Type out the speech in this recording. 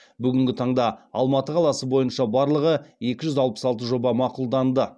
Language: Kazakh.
бүгінгі таңда алматы қаласы бойынша барлығы екі жүз алпыс алты жоба мақұлданды